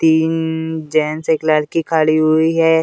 तीन जेंट्स एक लड़की खड़ी हुई है।